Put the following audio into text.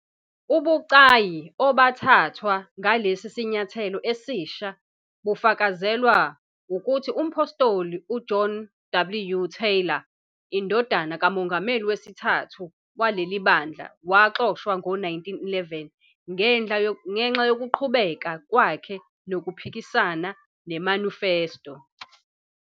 Ubucayi obathathwa ngalesi sinyathelo esisha bufakazelwa ukuthi umphostoli uJohn W. Taylor, indodana kamongameli wesithathu waleli bandla, waxoshwa ngo-1911 ngenxa yokuqhubeka kwakhe nokuphikisana neManifesto.